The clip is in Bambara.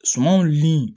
Sumanw ni